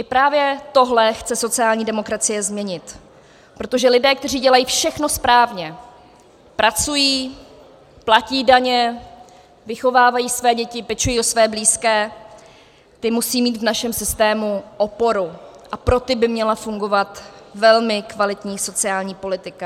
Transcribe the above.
I právě tohle chce sociální demokracie změnit, protože lidé, kteří dělají všechno správně, pracují, platí daně, vychovávají své děti, pečují o své blízké, ti musejí mít v našem systému oporu a pro ty by měla fungovat velmi kvalitní sociální politika.